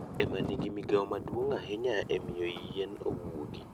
Ongoye e ma nigi migawo maduong' ahinya e miyo yien owuogi.